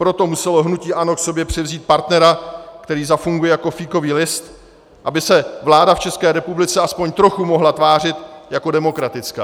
Proto muselo hnutí ANO k sobě přivzít partnera, který zafunguje jako fíkový list, aby se vláda v České republice alespoň trochu mohla tvářit jako demokratická.